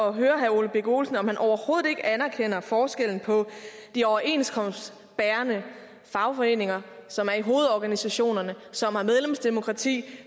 at høre herre ole birk olesen om han overhovedet ikke anerkender forskellen på de overenskomstbærende fagforeninger som er i hovedorganisationerne som har medlemsdemokrati